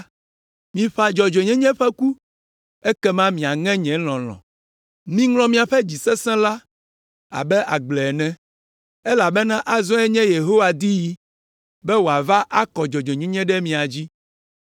Miƒã dzɔdzɔenyenye ƒe ku, ekema miaŋe nye lɔlɔ̃; miŋlɔ miaƒe dzi sesẽ la abe agble ene, elabena azɔe nye Yehowa diɣi, be wòava akɔ dzɔdzɔenyenye ɖe mia dzi.